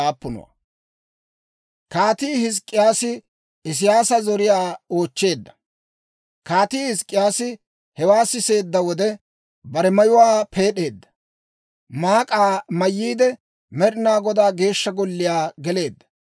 Kaatii Hizk'k'iyaasi hewaa siseedda wode, bare mayuwaa peed'eedda; maak'aa mayyiide, Med'inaa Godaa Geeshsha Golliyaa geleedda.